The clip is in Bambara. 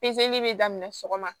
Pezeli bɛ daminɛ sɔgɔma